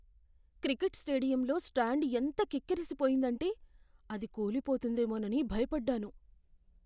Cricket స్టేడియంలో stand ఎంత కిక్కిరిసిపోయిందంటే, అది కూలిపోతుందేమోనని భయపడ్డాను.